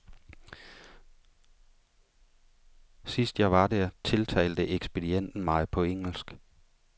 Sidst jeg var der, tiltalte ekspedienten mig på engelsk.